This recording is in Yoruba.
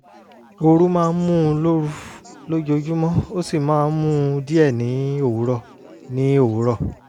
ooru máa ń mú un lóru lójoojúmọ́ ó sì máa ń mú un díẹ̀ ní òwúrọ̀ ní òwúrọ̀